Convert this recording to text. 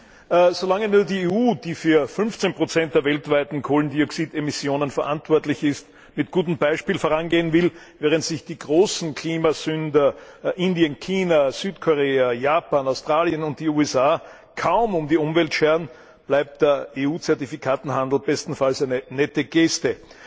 Herr Präsident! So lange nur die EU, die für 15 der weltweiten Kohlendioxidemissionen verantwortlich ist, mit gutem Beispiel vorangehen will, während sich die großen Klimasünder Indien, China, Südkorea, Japan, Australien und die USA kaum um die Umwelt scheren, bleibt der EU Zertifikatehandel bestenfalls eine nette Geste.